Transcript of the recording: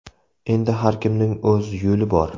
Endi har kimning o‘z yo‘li bor.